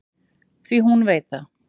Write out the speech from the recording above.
Því hún veit það.